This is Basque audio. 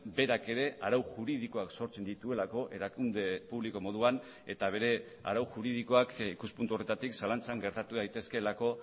berak ere arau juridikoak sortzen dituelako erakunde publiko moduan eta bere arau juridikoak ikuspuntu horretatik zalantzan gertatu daitezkeelako